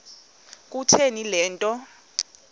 kutheni le nto